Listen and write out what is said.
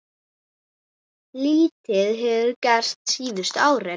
Lítið hefur gerst síðustu árin.